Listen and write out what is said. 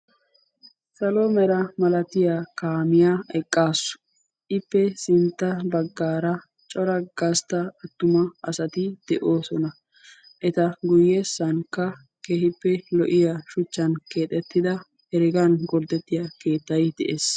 salo mera malatiya kaamiyaa eqqaassu ippe sintta baggaara cora gastta attuma asati de'oosona eta guyyeessankka kehippe lo'iya shuchchan keexettida heregan golddettiya keettai de'ees